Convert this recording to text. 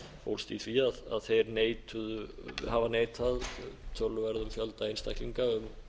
sem fólst í því að þeir hafa neitað töluverðum fjölda einstaklinga um